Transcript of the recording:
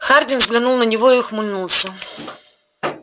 хардин взглянул на него и ухмыльнулся